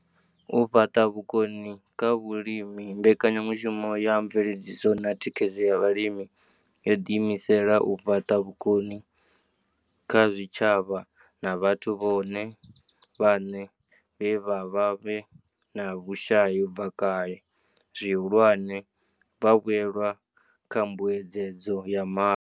U fhaṱa vhukoni kha vhalimi mbekanyamushumo ya mveledziso na thikhedzo ya vhalimi yo ḓiimisela u fhaṱa vhukoni kha zwitshavha na vhathu vhone vhaṋe vhe vha vha vhe na vhushai u bva kale, zwihulwane, vhavhuelwa kha mbuedzedzo ya ma.